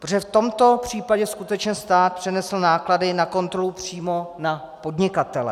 Protože v tomto případě skutečně stát přenesl náklady na kontrolu přímo na podnikatele.